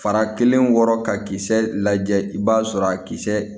Fara kelen wɔrɔ ka kisɛ lajɛ i b'a sɔrɔ a kisɛ